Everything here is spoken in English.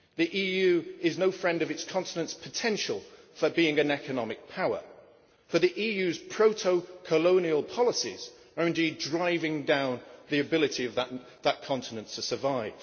The EU is no friend of its continent's potential for being an economic power, as the EU's proto-colonial policies are indeed driving down the ability of that continent to survive.